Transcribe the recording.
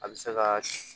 A bɛ se ka